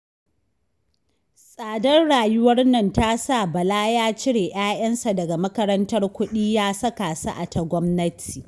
Tsadar rayuwar nan ta sa Bala ya cire 'ya'yansa daga makarantar kuɗi ya saka su a ta gwamnati